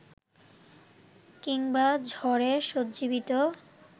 কিংবা ঝড়ে সঞ্জীবিত